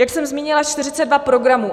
Jak jsem zmínila, 42 programů.